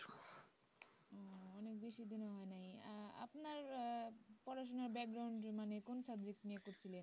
উম বেশি দিন ও হয় নাই আহ আপনার পড়াশোনার মানে কোন subject নিয়ে পড়ছিলেন